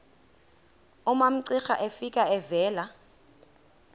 umamcira efika evela